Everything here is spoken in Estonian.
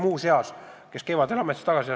Muuseas, kevadel astus ta ametist tagasi.